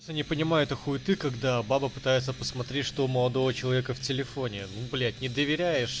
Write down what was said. не понимаю этой хуиты когда баба пытается посмотреть что у молодого человека в телефоне ну блять не доверяешь